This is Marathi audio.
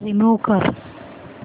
रिमूव्ह कर